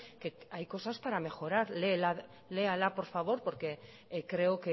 que hay cosas para mejorar léala por favor porque creo